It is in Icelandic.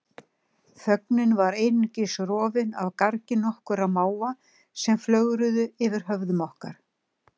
Þögnin var einungis rofin af gargi nokkurra máva sem flögruðu yfir höfðum okkar.